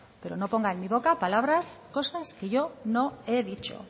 pero no ponga en mi boca palabras cosas que yo no he dicho